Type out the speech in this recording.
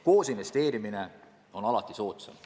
Koosinvesteerimine on alati soodsam.